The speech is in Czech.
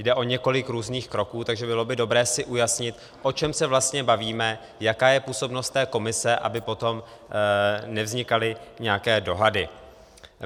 Jde o několik různých kroků, takže by bylo dobré si ujasnit, o čem se vlastně bavíme, jaká je působnost té komise, aby potom nevznikaly nějaké dohady.